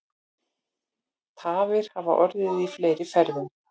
Tafir hafa orðið í fleiri ferðum